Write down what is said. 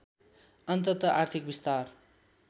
अन्तत आर्थिक विस्तार